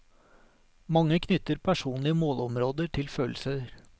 Mange knytter personlige målområder til følelser.